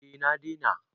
eh na dena